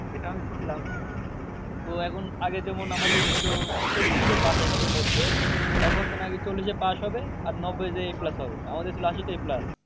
এটা আমি শুনলাম। তো এখন আগে যেমন আমাদের ছিল তেত্রিশে pass একশোর মধ্যে। এখন তো নাকি চল্লিশে pass হবে। আর নবব্বই যেয়ে plus হবে। আমাদের ছিল আশিতে plus.